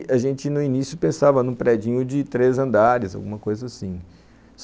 E a gente no início pensava num predinho de três andares, alguma coisa assim.